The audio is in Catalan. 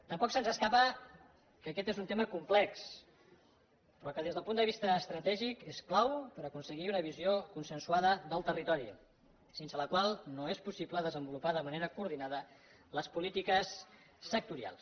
tampoc se’ns escapa que aquest és un tema complex però que des del punt de vista estratègic és clau per aconseguir una visió consensuada del territori sense la qual no és possible desenvolupar de manera coordinada les polítiques sectorials